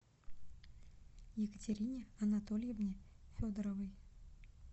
екатерине анатольевне федоровой